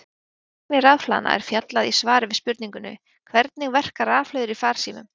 Um virkni rafhlaðna er fjallað í svari við spurningunni Hvernig verka rafhlöður í farsímum?